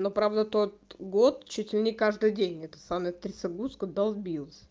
ну правда тот год чуть ли не каждый день это самая трясогузка долбилась